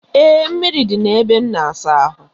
Ee, mmiri dị na-ebe a na-asa ahụ.